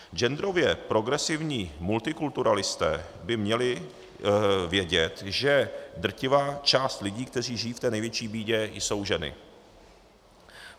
Genderově progresivní multikulturalisté by měli vědět, že drtivá část lidí, kteří žijí v té největší bídě, jsou ženy.